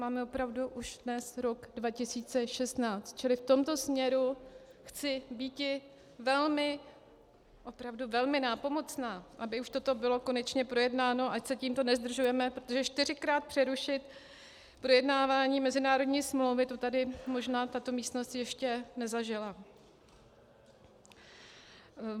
Máme opravdu už dnes rok 2016, čili v tomto směru chci býti velmi, opravdu velmi nápomocná, aby už toto bylo konečně projednáno, ať se tímto nezdržujeme, protože čtyřikrát přerušit projednávání mezinárodní smlouvy, to tady možná tato místnost ještě nezažila.